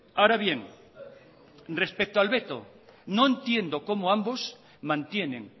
ahora bien respeto al veto no entiendo cómo ambos mantienen